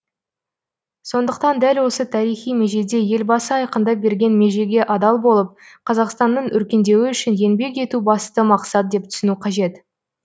сондықтан дәл осы тарихи межеде елбасы айқындап берген межеге адал болып қазақстанның өркендеуі үшін еңбек ету басты мақсат деп түсіну қажет